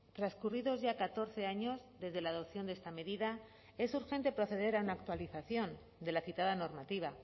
transcurridos ya catorce años desde la adopción de esta medida es urgente proceder a una actualización de la citada normativa